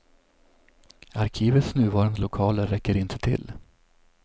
Arkivets nuvarande lokaler räcker inte till.